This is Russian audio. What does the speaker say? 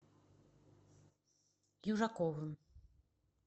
южаковым